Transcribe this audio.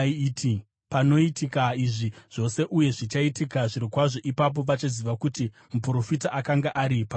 “Panoitika izvi zvose, uye zvichaitika zvirokwazvo, ipapo vachaziva kuti muprofita akanga ari pakati pavo.”